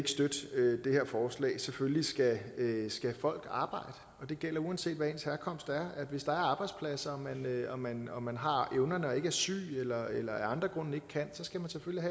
her forslag selvfølgelig skal folk arbejde og det gælder uanset hvad ens herkomst er hvis der er arbejdspladser og man og man har evnerne og ikke er syg eller eller af andre grunde ikke kan så skal